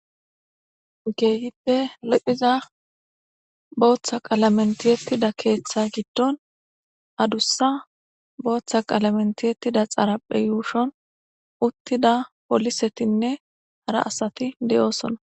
Gehippe lophiza booththa qaalamentiyettida keeththa giddon adussa booththa qalamentiyettida xarapphe yuushon uttida poolisetinne hara asati de'oosona.